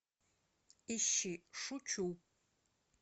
ищи шучу